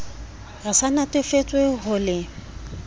re sa natefetswe ho le